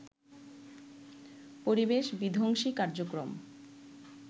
পরিবেশ বিধ্বংসী কার্যক্রম